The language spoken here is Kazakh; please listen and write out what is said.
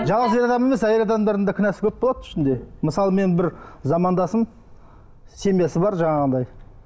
жалғыз ер адам емес әйел адамдардың да кінәсі көп болады ішінде мысалы мен бір замандасым семьясы бар жаңағындай